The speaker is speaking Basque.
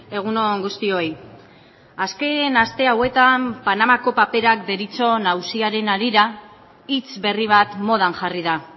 egun on guztioi azken aste hauetan panamako paperak deritzon auziaren harira hitz berri bat modan jarri da